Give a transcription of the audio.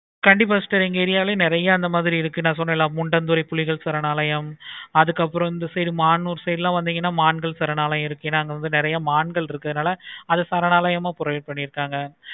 கண்டிப்பா sister எங்க area ளையும் நெறைய ந சொன்னன்ல புலிகள் சரணாலயம் அதுக்கு அப்பறம் இந்த சைடு மான் மான்கள் சரணாலயம் அதுக்கு அப்பறம் இந்த side மானுர் சரணாலயம் இருக்கு. நாங்க வந்து நெறைய மான்கள் இருக்கு. அது சரணாலயம் ஆஹ் produce பண்ணிருக்காங்க.